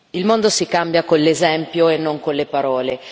Il mondo si cambia con l'esempio e non con le parole.